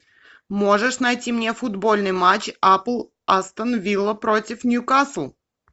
можешь найти мне футбольный матч апл астон вилла против ньюкасл